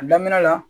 A daminɛ la